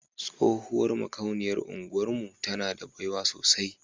Tsohuwar makauniyar unguwar mu tana da baiwa sosai.